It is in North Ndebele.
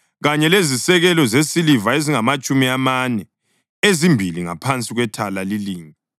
kanye lezisekelo zesiliva ezingamatshumi amane, ezimbili ngaphansi kwethala lilinye.